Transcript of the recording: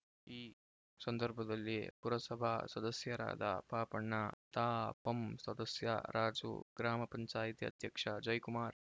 ಈ ಸಂದರ್ಭದಲ್ಲಿ ಪುರಸಭಾ ಸದಸ್ಯರಾದ ಪಾಪಣ್ಣ ತಾಪಂ ಸದಸ್ಯ ರಾಜು ಗ್ರಾಮ ಪಂಚಾಯ್ತಿ ಅಧ್ಯಕ್ಷ ಜಯ್ ಕುಮಾರ್